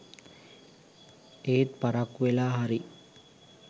එත් පරක්කු වෙලා හරි